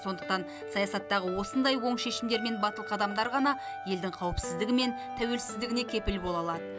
сондықтан саясаттағы осындай оң шешімдер мен батыл қадамдар ғана елдің қауіпсіздігі мен тәуелсіздігіне кепіл бола алады